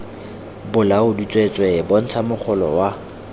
bolaodi tsweetswee bontsha mogolo wa